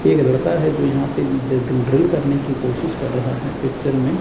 एक लड़का है जो यहां पे ड्रिल करने की कोशिश कर रहा है पिक्चर में--